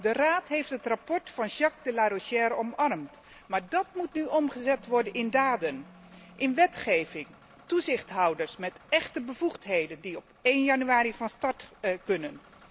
De Raad heeft het verslag van Jacques de Larosière omarmd, maar dat moet nu omgezet worden in daden, in wetgeving, toezichthouders met echte bevoegdheden die op 1 januari van start kunnen.